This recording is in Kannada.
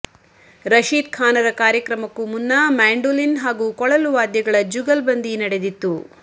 ರಶೀದ್ ಖಾನರ ಕಾರ್ಯಕ್ರಮಕ್ಕೂ ಮುನ್ನ ಮ್ಯಾಂಡೋಲಿನ್ ಹಾಗೂ ಕೊಳಲು ವಾದ್ಯಗಳ ಜುಗಲ್ಬಂದಿ ನಡೆದಿತ್ತು